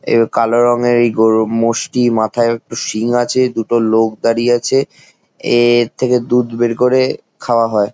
এই কালো রঙের এই-গরু মোষটি মাথায়ও একটু সিং আছে | দুটো লোক দাড়িয়ে আছে | এর-র থেকে দুধ বের করে খাওয়া হয়।